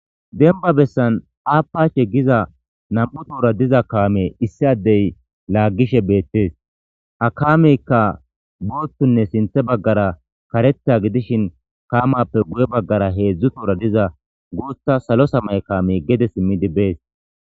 Demba bessan aappacshe giza nam7u toora diza kaame issi addey laaggishe beettes a kaameykka boottunne sinte baggara kareta gidishin kaamappe guye baggara heedzdzu toora diza gootha salo samay kaame gede simmidibbees.